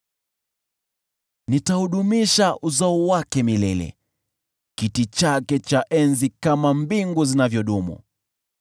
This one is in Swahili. Nitaudumisha uzao wake milele, kiti chake cha enzi kama mbingu zinavyodumu.